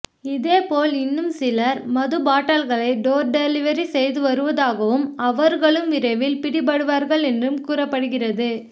இதேபோல் இன்னும் சிலர் மதுபாட்டில்களை டோர் டெலிவரி செய்து வருவதாகவும் அவர்களும் விரைவில் பிடிபடிவார்கள் என்றும் கூறப்படுகிறது